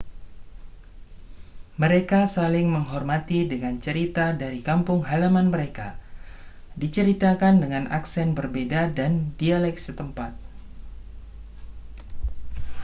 mereka saling menghormati dengan cerita dari kampung halaman mereka diceritakan dengan aksen berbeda dan dialek setempat